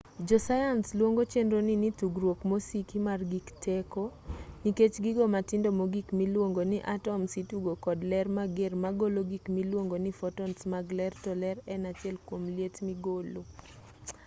josayans luongo chenroni ni tugruok mosiki mar gig teko nikech gigo matindo mogik miluong ni atoms itugo kod ler mager ma golo gik miluongo ni fotons mag ler to ler en achiel kuom liet migolo